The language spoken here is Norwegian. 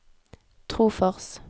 Trofors